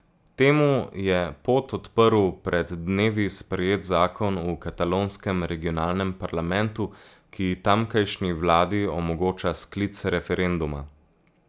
Temu je pot odprl pred dnevi sprejet zakon v katalonskem regionalnem parlamentu, ki tamkajšnji vladi omogoča sklic referenduma.